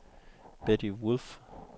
Betty Wolff